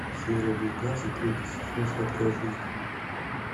серия девятнадцать третий сезон сладкая жизнь